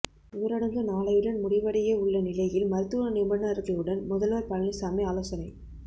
ஊரடங்கு நாளையுடன் முடிவடைய உள்ள நிலையில் மருத்துவ நிபுணர்களுடன் முதல்வர் பழனிசாமி ஆலோசனை